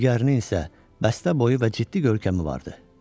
Digərinin isə bəstəboyu və ciddi görkəmi vardı.